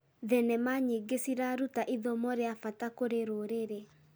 Thenema nyingĩ ciraruta ithomo rĩa bata kũrĩ rũrĩrĩ.